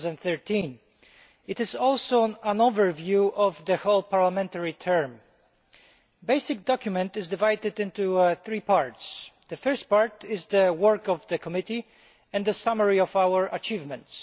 2013. It is also an overview of the whole parliamentary term. The basic document is divided into three parts. The first part details the work of the Committee and the summary of our achievements.